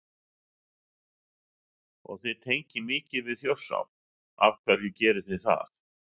Og þið tengið mikið við Þjórsá, af hverju gerið þið það?